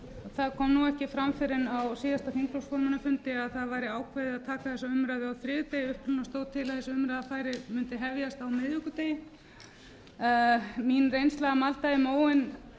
það kom ekki fram fyrr en á þingflokksformannafundi að það væri ákveðið að taka þessa umræðu á þriðjudegi þess vegna stóð til að þessi umræða mundi hefjast á miðvikudegi mín reynsla að malda í móinn